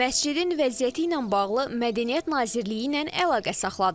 Məscidin vəziyyəti ilə bağlı Mədəniyyət Nazirliyi ilə əlaqə saxladıq.